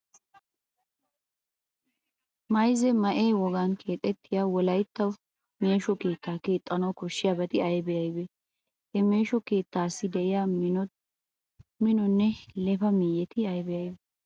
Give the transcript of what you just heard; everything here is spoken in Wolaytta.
Mayzza ma"e wogan keeexettiya wolaytta meesho keettaa keexxanawu koshshiyabati aybee aybee? Ha meesho keettaassi de'iya minonne left miyyeti aybee aybee?